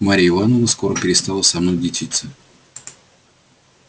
марья ивановна скоро перестала со мною дичиться